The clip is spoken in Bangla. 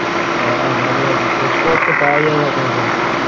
হ্যাঁ ভালোই আছি খোঁজ খবর তো পাওয়া যায় না তোর কোন,